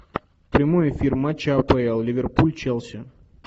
прямой эфир матча апл ливерпуль челси